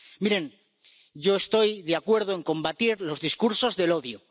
Miren, yo estoy de acuerdo en combatir los discursos del odio.